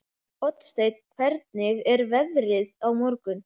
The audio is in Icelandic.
Oddsteinn, hvernig er veðrið á morgun?